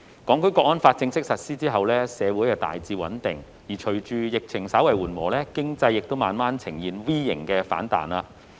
《香港國安法》正式實施後，社會大致穩定；而隨着疫情稍為緩和，經濟亦慢慢呈現 V 型反彈。